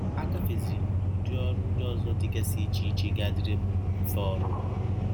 Agafeziri m n’udi ọrụ ndị ọzọ dịgasị iche iche ga - adịrị m mfe ọrụrụ